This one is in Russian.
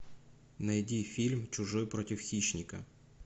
найди фильм чужой против хищника